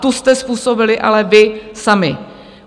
Tu jste způsobili ale vy sami!